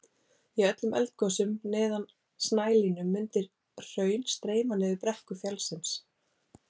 Í öllum eldgosum neðan snælínu mundi hraun streyma niður brekkur fjallsins.